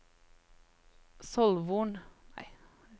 Solvorn